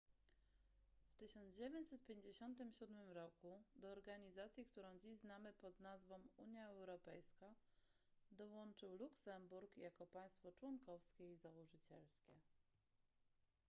w 1957 roku do organizacji którą dziś znamy pod nazwą unia europejska dołączył luksemburg jako państwo członkowskie i założycielskie